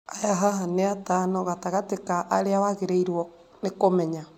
Aya haha nĩ atano gatagatĩ ka arĩa wagĩrĩirũo nĩ kũmenya.